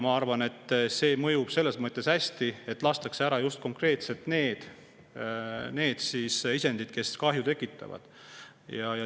Ma arvan, et see mõjub selles mõttes hästi, et lastakse maha konkreetselt just need isendid, kes kahju tekitavad.